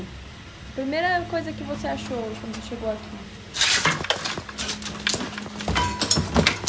A primeira coisa que você achou quando chegou aqui?